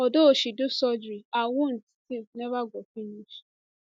although she do surgery her wound still neva go finish